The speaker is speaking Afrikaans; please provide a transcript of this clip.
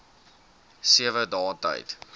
sewe dae tyd